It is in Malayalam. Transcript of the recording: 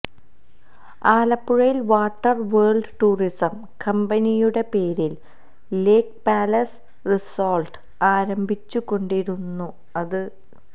ആലപ്പുഴയില് വാട്ടര് വേള്ഡ് ടൂറിസം കമ്പനിയുടെ പേരില് ലേക് പാലസ് റിസോര്ട്ട് ആരംഭിച്ചുകൊണ്ടായിരുന്നു അത്